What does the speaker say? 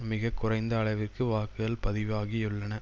மிக குறைந்த அளவிற்கு வாக்குகள் பதிவாகியுள்ளன